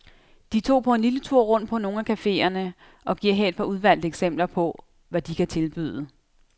De tog på en lille tur rundt på nogle af cafeerne og giver her et par udvalgte eksempler på, hvad de kan tilbyde.